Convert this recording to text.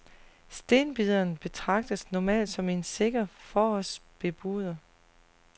Stenbideren betragtes normalt som en sikker forårsbebuder.